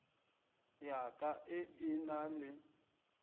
ya ka e na le